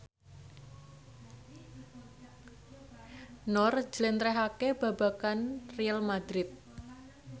Nur njlentrehake babagan Real madrid